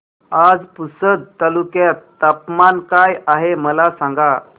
आज पुसद तालुक्यात तापमान काय आहे मला सांगा